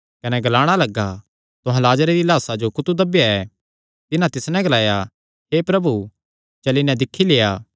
कने ग्लाणा लग्गा तुहां लाजरे दिया लाह्सा जो कुत्थू दब्बेया ऐ तिन्हां तिस नैं ग्लाया हे प्रभु चली नैं दिक्खी लेआ